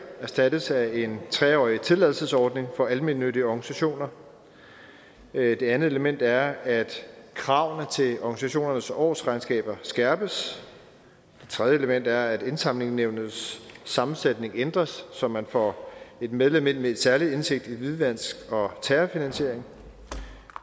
erstattes af en tre årig tilladelsesordning for almennyttige organisationer det andet element er at kravene til organisationernes årsregnskaber skærpes det tredje element er at indsamlingsnævnets sammensætning ændres så man får et medlem ind med en særlig indsigt i hvidvask og terrorfinansiering